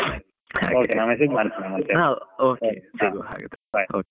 Okay ನಾನ್ message ಮಾಡ್ತೇನೆ . okay ಸಿಗುವ ಹಾಗಿದ್ರೆ bye .